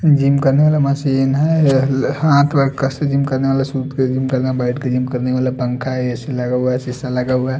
Gym करने वाला machine है यह ल हाथ व कसे से जिम करने वाला सुत के जिम करना बैठ के जिम करने वाला पंखा है ए_सी लगा हुआ है शीशा लगा हुआ है।